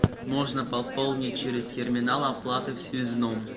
можно пополнить через терминал оплаты в связном